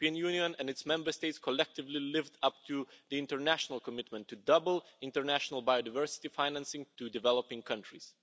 The European Union and its Member States collectively lived up to the international commitment to double international biodiversity financing to developing countries.